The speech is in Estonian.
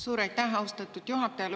Suur aitäh, austatud juhataja!